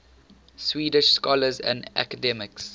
swedish scholars and academics